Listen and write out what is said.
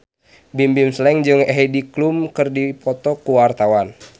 Bimbim Slank jeung Heidi Klum keur dipoto ku wartawan